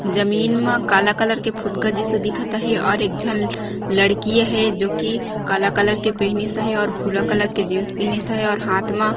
जमीन मा काला कलर के फुदका जैसे दिखत हेय और एक झन लड़की हेय जो की काला कलर के पेहनीस हेय और भूरा जीन्स पेहनीस हेय और हाथ मा --